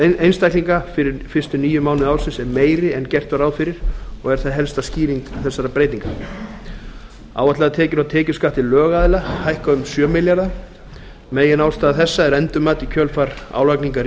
einstaklinga fyrir fyrstu níu mánuði ársins er meiri en gert var ráð fyrir og er það helsta skýring þessara breytinga áætlaðar tekjur af tekjuskatti lögaðila hækka um sjö milljarða meginástæða þessa er endurmat í kjölfar álagningar